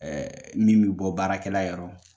Ɛɛ min bɛ bɔ baarakɛla yɔrɔ